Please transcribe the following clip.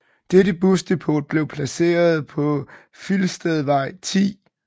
Dette busdepot blev placeret på Filstedvej 10